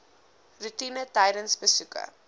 roetine tydens besoeke